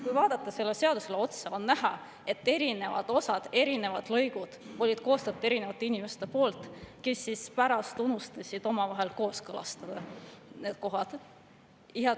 Kui vaadata sellele seadusele otsa, siis on näha, et erinevad osad, erinevad lõigud on koostatud erinevate inimeste poolt, kes pärast on unustanud need kohad omavahel kooskõlastamata.